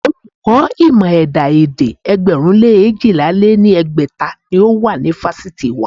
Olùkọ́ ìmọ̀ ẹ̀dá-èdè ẹgbẹ̀rún lé eéjìlá lé ní ẹgbẹ́ta ni ó wà ní fásitì wa.